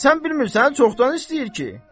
Sən bilmirsən çoxdan istəyir ki?